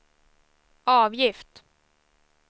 avgift